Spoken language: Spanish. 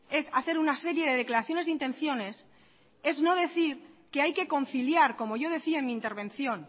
es hacer una serie de declaraciones de intenciones es no decir que hay que conciliar como yo decía en mi intervención